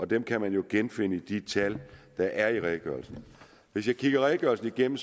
dem kan man jo genfinde i de tal der er i redegørelsen hvis jeg kigger redegørelsen igennem